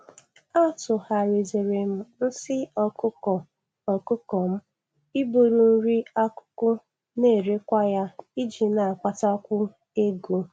Atụgharịziri m nsị ọkụkọ ọkụkọ m ịbụrụ nri akụkụ na-erekwa ya iji na-akpatakwu ego.